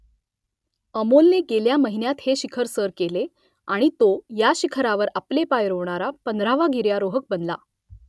अमोलने गेल्या महिन्यात हे शिखर सर केले आणि तो या शिखरावर आपले पाय रोवणारा पंधरावा गिर्यारोहक बनला